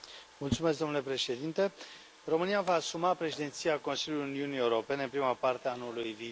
Domnule președinte, România își va asuma președinția Consiliului Uniunii Europene în prima parte a anului viitor.